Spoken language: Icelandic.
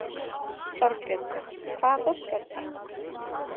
Þorbjörn: Hvaða fólk er þetta?